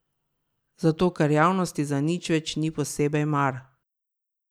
Zato ker javnosti za nič več ni posebej mar.